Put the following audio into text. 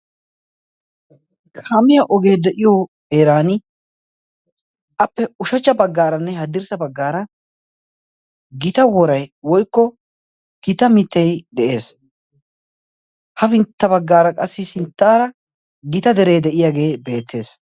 Kaamiyaa ogee de'iyo heeran appe ushachcha baggaaranne haddirssa baggaara gita worai woikko gita mittei de'ees' ha bintta baggaara qassi sinttaara gita deree de'iyaagee beettees.